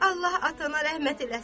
Allaha atana rəhmət eləsin.